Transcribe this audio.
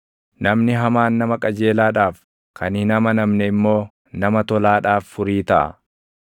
Namni hamaan nama qajeelaadhaaf, kan hin amanamne immoo nama tolaadhaaf furii taʼa.